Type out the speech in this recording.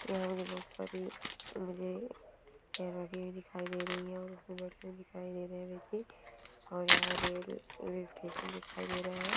यहां भी बहुत सारी मुझे चेयर लगी हुई दिखाई दे रही है और यहां रेल रेल जैसा दिखाई दे रहा है।